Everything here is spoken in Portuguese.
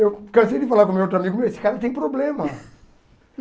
Eu cansei de falar com meu outro amigo meu, esse cara tem problema.